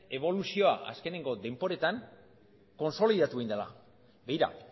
eboluzioa azkenengo denboretan kontsolidatu egin dela begira